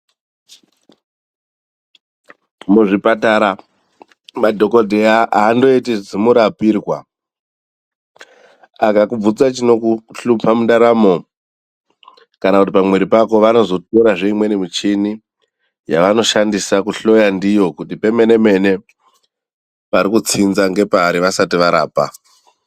Muzvipatara madhokodheya aandoiti zimurapirwa. Akakubvunza chinokuhlupa mundaramo kana kuti pamwiri pako vanozotorazve imweni michini yavanoshandisa kuhloya ndiyo kuti pemene mene parikutsinza ngepari vasati varapa.